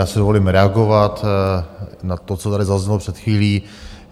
Já si dovolím reagovat na to, co tady zaznělo před chvílí.